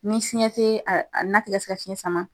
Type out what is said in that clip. Ni fiɲɛ te a na te ka se ka fiɲɛ sama